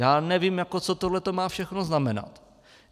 Já nevím, co tohle má všechno znamenat.